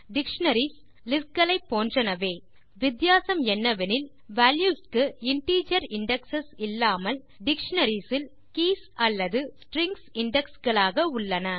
dictionaries list களை போன்றனவே வித்தியாசம் என்னவெனில் வால்யூஸ் க்கு இன்டிஜர் இண்டெக்ஸ் இல்லாமல் டிக்ஷனரிஸ் இல் கீஸ் அல்லது ஸ்ட்ரிங்ஸ் இண்டெக்ஸ் களாக உள்ளன